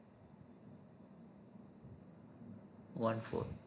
one four